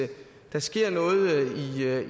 der sker noget i